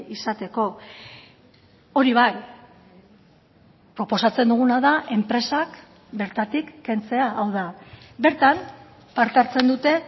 izateko hori bai proposatzen duguna da enpresak bertatik kentzea hau da bertan parte hartzen dute